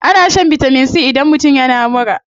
Ana shan vitamin c idan mutum yana mura.